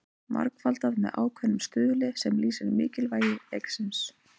Margfaldað með ákveðnum stuðli sem lýsir mikilvægi leiksins.